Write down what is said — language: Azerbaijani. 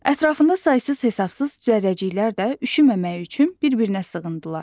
Ətrafında saysız-hesabsız zərrəciklər də üşüməməyi üçün bir-birinə sığındılar.